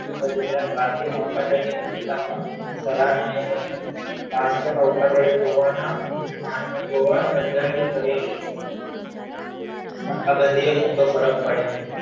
તદ્ ઉપરાંત ભારતીય નૌકા દળની ભૂમિકા પણ કરી ગોવા ના માર્ગ ગોવા બંદરની કરેલી નાકાબંધીએ મોટો ફરક પાડી દીધો